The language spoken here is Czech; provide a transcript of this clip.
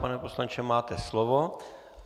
Pane poslanče, máte slovo.